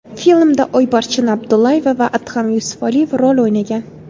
Filmda Oybarchin Abdullayeva va Adham Yusufaliyev rol o‘ynagan.